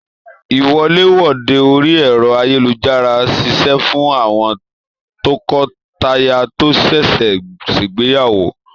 Iwọ̀lèwọ̀de orí ẹrọ ayélujára ṣiṣẹ fún àwọn tọkọtaya to ṣẹṣẹ ṣegbeyawo.